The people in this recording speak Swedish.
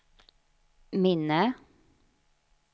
minne